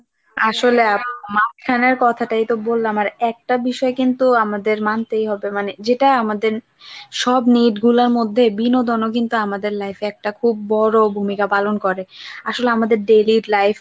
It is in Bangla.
আসলে আপু মাঝখানের কথাটাই তো বললাম আর একটা বিষয় কিন্তু আমাদের মানতেই হবে মানে যেটা আমাদের সব নেট গুলার মধ্যে বিনোদনও কিন্তু আমাদের life এ একটা খুব বড় ভূমিকা পালন করে আসলে আমাদের daily life বলেন